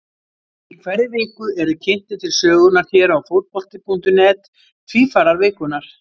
Í hverri viku eru kynntir til sögunnar hér á Fótbolti.net Tvífarar vikunnar.